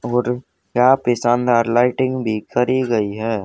और यहां पर शानदार लाइटिंग भी करी गई है।